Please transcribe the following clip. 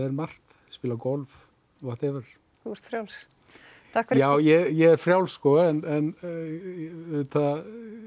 margt spila golf whatever þú ert frjáls já ég er frjáls sko en auðvitað